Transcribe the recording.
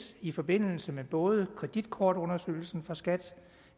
i forbindelse mod kreditkortundersøgelsen fra skat